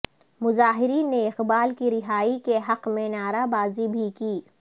مظاہرین نے اقبال کی رہائی کے حق میں نعرہ بازی بھی کی